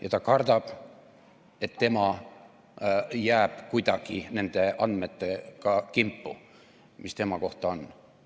Kas ta kardab, et tema jääb kuidagi nende andmetega kimpu, mis tema kohta on?